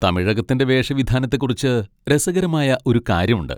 തമിഴകത്തിന്റെ വേഷവിധാനത്തെക്കുറിച്ച് രസകരമായ ഒരു കാര്യമുണ്ട്.